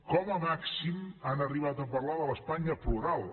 com a màxim han arribat a parlar de l’espanya plural